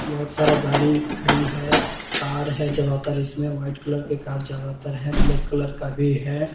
बहुत सारा गाड़ी खड़ी है कार है ज्यादातर इसमें वाइट कलर के कार ज्यादातर है ब्लैक कलर का भी है।